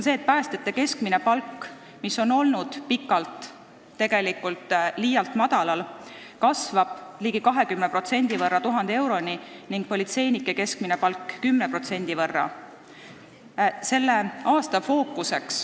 Päästjate keskmine palk, mis on pikalt olnud liialt madal, kasvab ligi 20%, 1000 euroni, ning politseinike keskmine palk kasvab 10%.